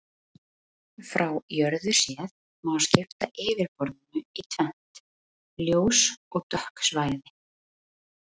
Frá jörðu séð má skipta yfirborðinu í tvennt, ljós og dökk svæði.